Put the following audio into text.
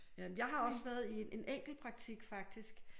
Jamen jeg har også været i en en enkelt praktik faktisk